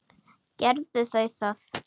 Gerðu þau það.